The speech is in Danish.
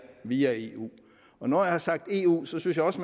via eu når jeg har sagt eu synes jeg også